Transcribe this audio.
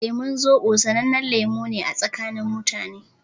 Lemun Zobo sanannen lemu ne a tsakanin mutane.